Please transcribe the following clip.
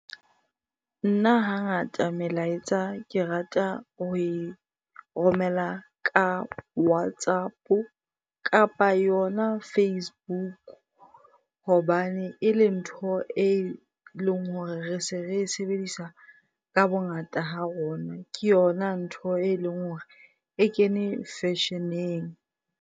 Nna hangata melaetsa ke rata ho e romela ka WhatsApp kapa yona Facebook. Hobane ele ntho eleng hore re se re e sebedisa ka bongata ha rona. Ke yona ntho e leng hore e kene fashion-eng.